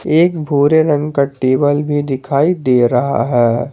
एक भूरे रंग का टेबल भी दिखाई दे रहा है।